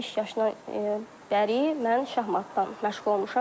5 yaşdan bəri mən şahmatdan məşğul olmuşam.